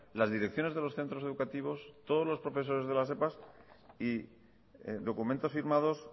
las direcciones de los centros educativos todos los profesores de las epas y documentos firmados